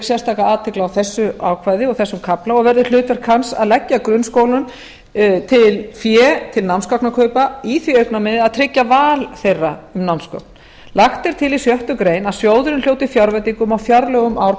sérstaka athygli á þessu ákvæði og þessum kafla og verður hlutverk hans að leggja grunnskólum til fé til námsgagnakaupa í því augnamiði að tryggja val þeirra um námsgögn lagt er til í sjöttu grein að sjóðurinn hljóti fjárveitingu af fjárlögum ár